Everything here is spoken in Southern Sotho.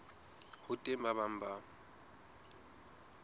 ho teng ba bang ba